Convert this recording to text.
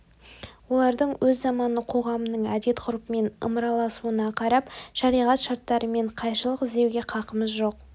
олардың өз заманының қоғамының әдет ғұрпымен ымыраласуына қарап шариғат шарттарымен қайшылық іздеуге қақымыз жоқ